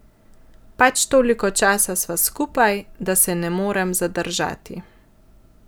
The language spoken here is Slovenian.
Pač toliko časa sva skupaj, da se ne morem zadržati.